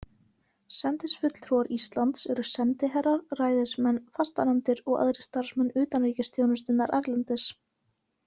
Sendifulltrúar Íslands eru sendiherrar, ræðismenn, fastanefndir og aðrir starfsmenn utanríkisþjónustunnar erlendis.